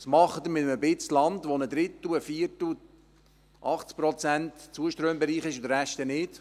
Was machen Sie mit einem Stück Land, bei dem ein Drittel, ein Viertel, 80 Prozent, im Zuströmbereich sind und der Rest nicht?